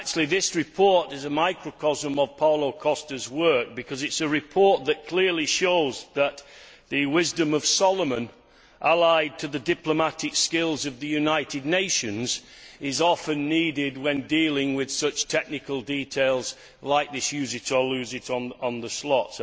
This report is a microcosm of Paolo Costa's work, because it is a report that clearly shows that the wisdom of Solomon, allied to the diplomatic skills of the United Nations, is often needed when dealing with such technical details like use it or lose it on the slot'.